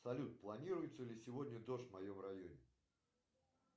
салют планируется ли сегодня дождь в моем районе